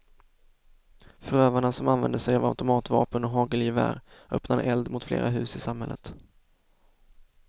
Förövarna, som använde sig av automatvapen och hagelgevär, öppnade eld mot flera hus i samhället.